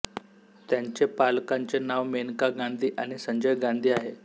त्यांचे पालकांचे नाव मेनका गांधी आणि संजय गांधी आहे